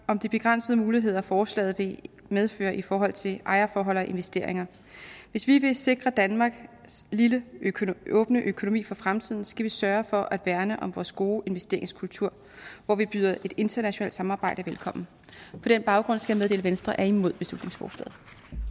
om de begrænsede muligheder forslaget vil medføre i forhold til ejerforhold og investeringer hvis vi vil sikre danmarks lille åbne økonomi for fremtiden skal vi sørge for at værne om vores gode investeringskultur hvor vi byder et internationalt samarbejde velkommen på den baggrund skal jeg meddele at venstre er imod beslutningsforslaget